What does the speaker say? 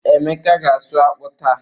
Emeka ga-asụ akpụ taa.